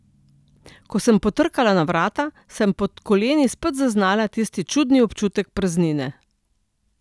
Ko sem potrkala na vrata, sem pod koleni spet zaznala tisti čudni občutek praznine.